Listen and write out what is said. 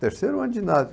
Terceiro ano de ginásio.